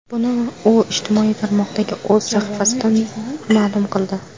Buni u ijtimoiy tarmoqdagi o‘z sahifasida ma’lum qildi .